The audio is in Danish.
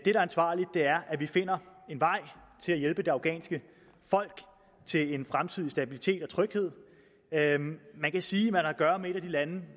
er ansvarligt er at vi finder en vej til at hjælpe det afghanske folk til en fremtid i stabilitet og tryghed man kan sige man har at gøre med et af de lande